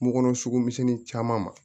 Kun kɔnɔ sugu misɛnnin caman ma